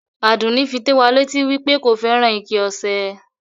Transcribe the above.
Àdùnì fí tó wà lẹ́tì wí pé kò fẹ́ran ìkẹ̀ ọṣẹ̀.